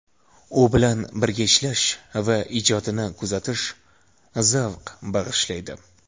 U bilan birga ishlash va ijodini kuzatish zavq bag‘ishlaydi”.